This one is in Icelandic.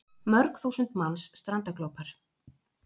Mörg þúsund manns strandaglópar